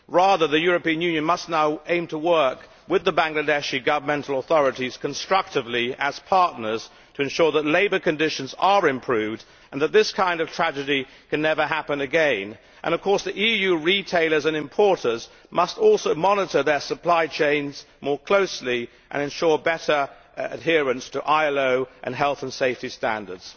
Rather, the European Union must now aim to work with the Bangladeshi governmental authorities constructively, as partners, to ensure that labour conditions are improved and that this kind of tragedy can never happen again. The EU retailers and importers must also monitor their supply chains more closely and ensure better adherence to ILO and health and safety standards.